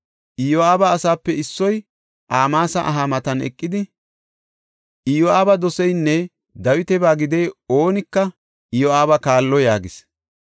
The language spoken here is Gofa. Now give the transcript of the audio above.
Iyo7aaba asaape issoy Amaasa aha matan eqidi, “Iyo7aaba doseynne Dawitaba gidiya oonika Iyo7aaba kaallo” yaagis.